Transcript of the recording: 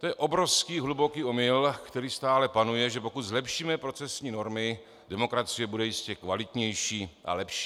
To je obrovský, hluboký omyl, který stále panuje, že pokud zlepšíme procesní normy, demokracie bude jistě kvalitnější a lepší.